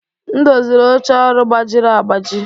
M doziri oche ọrụ gbajiri agbaji.